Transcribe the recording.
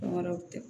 Fɛn wɛrɛw tɛ